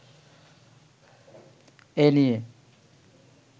এ নিয়ে